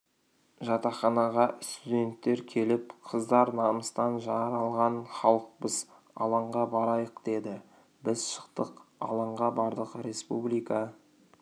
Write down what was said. жатақханаға студенттер келіп қыздар намыстан жаралған халықпыз алаңға барайық деді біз шықтық алаңға бардық республика